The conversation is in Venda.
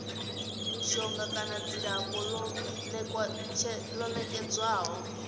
mishonga kana dzilafho ḽo nekedzwaho